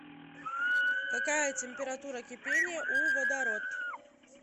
какая температура кипения у водород